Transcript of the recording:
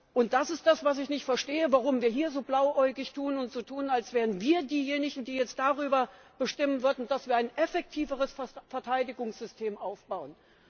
Und das ist das, was ich nicht verstehe, warum wir hier so blauäugig tun und so tun, als wären wir diejenigen, die jetzt darüber bestimmen würden, dass wir ein effektiveres Verteidigungssystem aufbauen.